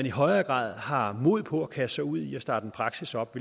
i højere grad har mod på at kaste sig ud i at starte en praksis op